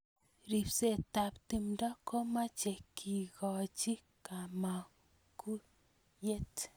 ribsetab timdo ko machei kekochi kamagutyet